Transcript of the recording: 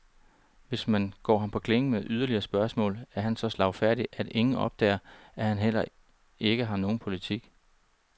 Hvis man går ham på klingen med yderligere spørgsmål, er han så slagfærdig, at ingen opdager, at han ikke har nogen politik.